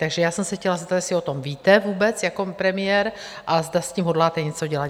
Takže já jsem se chtěla zeptat, jestli o tom víte vůbec jako premiér a zda s tím hodláte něco dělat?